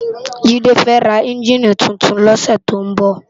Jide fè rá ènjiní tútún lòsè tó n bò